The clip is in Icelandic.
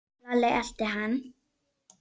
Lalli elti hann.